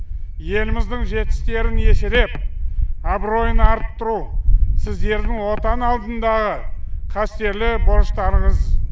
еліміздің жетістерін еселеп абыройын арттыру сіздердің отан алдындағы қастерлі борыштарыңыз